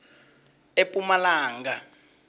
epumalanga